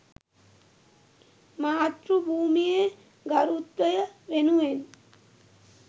මාතෘ භූමියේ ගරුත්වය වෙනුවෙන්